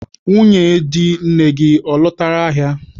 Nwunye di nne gị, ọ lọtala ahịa?